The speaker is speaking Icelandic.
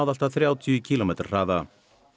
allt að þrjátíu kílómetra hraða